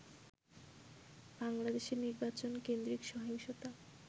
বাংলাদেশে নির্বাচন কেন্দ্রিক সহিংসতা